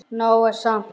Nóg er samt.